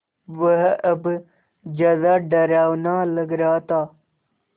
वह अब ज़्यादा डरावना लग रहा था